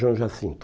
João Jacinto.